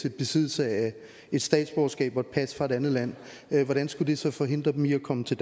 i besiddelse af et statsborgerskab og et pas fra et andet land hvordan skulle det så forhindre dem i at komme til